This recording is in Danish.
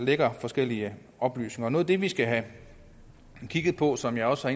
lækker forskellige oplysninger noget af det vi skal have kigget på som jeg også